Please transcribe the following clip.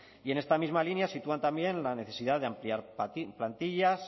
y en esta misma línea sitúan también la necesidad de ampliar plantillas